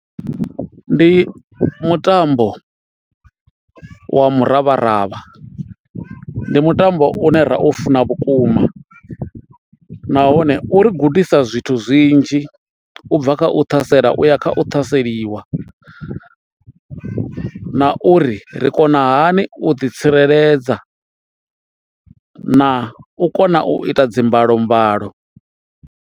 Ndi mutambo wa muravharavha, ndi mutambo une ra u funa vhukuma nahone u ri gudisa zwithu zwinzhi u bva kha u ṱhasela uya kha u ṱhaseliwa na uri ri kona hani u ḓi tsireledza na u kona u ita dzi mbalo mbalo.